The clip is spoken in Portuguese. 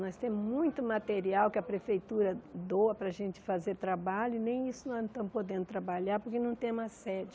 Nós temos muito material que a prefeitura doa para a gente fazer trabalho e nem isso nós não estamos podendo trabalhar porque não temos a sede.